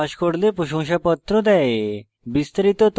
online পরীক্ষা pass করলে প্রশংসাপত্র দেয়